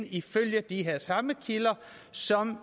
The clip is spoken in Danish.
ifølge de samme kilder som